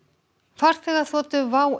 farþegaþotu WOW